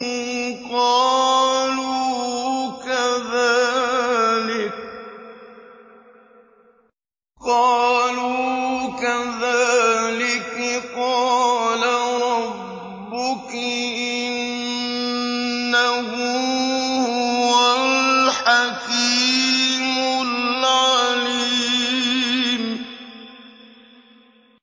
قَالُوا كَذَٰلِكِ قَالَ رَبُّكِ ۖ إِنَّهُ هُوَ الْحَكِيمُ الْعَلِيمُ